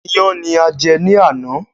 Iyán ni a jẹ́ ní àná